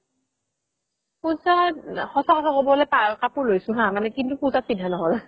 পুজাত সচা কথা ক'বলে গ'লে কাপোৰ লৈছো হা কিন্তু পুজাত পিন্ধা নহ'ল